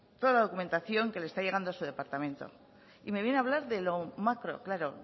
toda la documentación que le está llegando a su departamento y me viene a hablar de lo macro claro